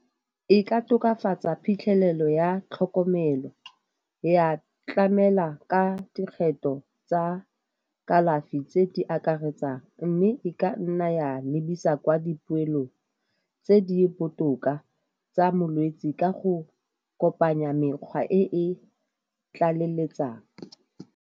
E ka tokafatsa phitlhelelo ya tlhokomelo, ya tlamela ka dikgetho tsa kalafi tse di akaretsang, mme e ka nna ya lebisa kwa dipoelong tse di botoka tsa molwetse ka go kopanya mekgwa e e tlaleletsang.